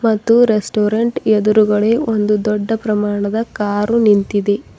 ಮತ್ತು ರೆಸ್ಟೋರೆಂಟ್ ಎದುರುಗಡೆ ಒಂದು ದೊಡ್ಡ ಪ್ರಮಾಣದ ಕಾರು ನಿಂತಿದೆ.